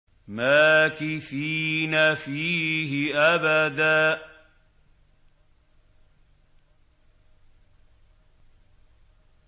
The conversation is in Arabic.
مَّاكِثِينَ فِيهِ أَبَدًا